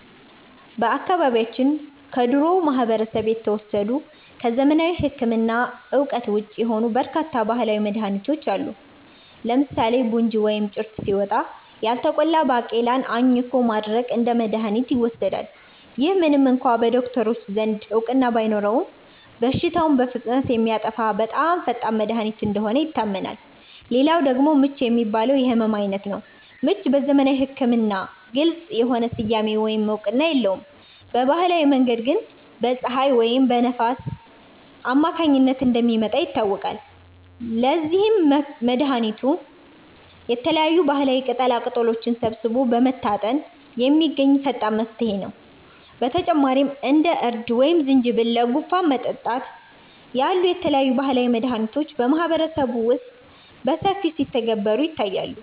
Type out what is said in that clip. በአካባቢያችን ከድሮው ማህበረሰብ የተወሰዱ፣ ከዘመናዊ ሕክምና እውቀት ውጪ የሆኑ በርካታ ባህላዊ መድኃኒቶች አሉ። ለምሳሌ 'ቡንጅ' (ወይም ጭርት) ሲወጣ፣ ያልተቆላ ባቄላን አኝኮ ማድረቅ እንደ መድኃኒት ይወሰዳል። ይህ ምንም እንኳ በዶክተሮች ዘንድ እውቅና ባይኖረውም፣ በሽታውን በፍጥነት የሚያጠፋ በጣም ፈጣን መድኃኒት እንደሆነ ይታመናል። ሌላው ደግሞ 'ምች' የሚባለው የሕመም ዓይነት ነው። ምች በዘመናዊ ሕክምና ግልጽ የሆነ ስያሜ ወይም እውቅና የለውም፤ በባህላዊ መንገድ ግን በፀሐይ ወይም በንፋስ አማካኝነት እንደሚመጣ ይታወቃል። ለዚህም መድኃኒቱ የተለያዩ ባህላዊ ቅጠላቅጠሎችን ሰብስቦ በመታጠን የሚገኝ ፈጣን መፍትሄ ነው። በተጨማሪም እንደ እርድ ወይም ዝንጅብል ለጉንፋን መጠጣት ያሉ የተለያዩ ባህላዊ መድኃኒቶች በማህበረሰቡ ውስጥ በሰፊው ሲተገበሩ ይታያሉ